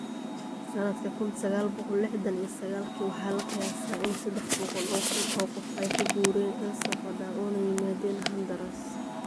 Sanadka kun saqal boqol lixtan iyo saqalki, waxaa la qiyaasaa in sadex boqol oo kun oo qof ay ka guureen El Salvador una yimaadeen Honduras.